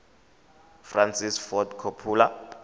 francis ford coppola